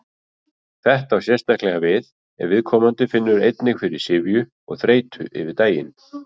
Þetta á sérstaklega við ef viðkomandi finnur einnig fyrir syfju og þreytu yfir daginn.